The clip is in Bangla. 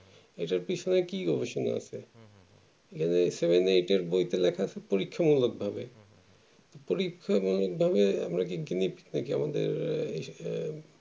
এটার পেছনে কি গবেষণা আছে এই seven eight এর বইতে লেখা আছে পরীক্ষা মূলক ভাবে পরীক্ষা মূলক ভাবে আমরা কি gunie-pig নাকি আমাদের এ এ এ